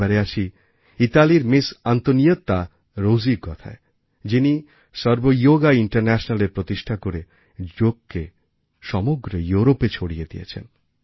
এবার আসি ইতালির মিস অন্তনিয়েত্তা রোজির কথায় যিনি সর্বযোগা ইন্টারন্যাশনালএর প্রতিষ্ঠা করেযোগকে সমগ্র ইউরোপে ছড়িয়ে দিয়েছেন